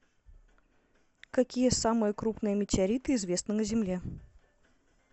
какие самые крупные метеориты известны на земле